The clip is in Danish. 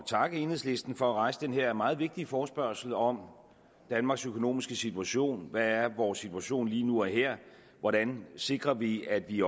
takke enhedslisten for at rejse den her meget vigtige forespørgsel om danmarks økonomiske situation hvad er vores situation lige nu og her hvordan sikrer vi at vi